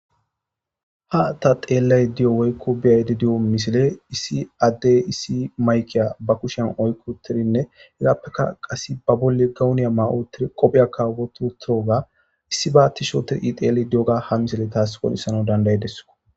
Ha ta xeellay di'o woykko biyaydi di7o misile issi addey issi maykiya ba kushen oykko tirinne hegappeka qas ba bolle gawuniya ma7o tir qophiya kawbotu tiroga issi baatti sho tir ixeel di7oga ha misile taas qoonissana dandayedeso.